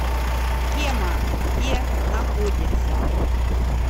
тема где находится